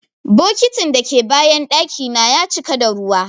Bokitin dake bayan daki na ya cika da ruwa.